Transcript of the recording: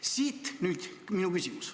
Siit nüüd küsimus.